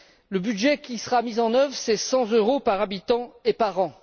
Le budget qui sera mis en œuvre est de 100 euros par habitant et par an.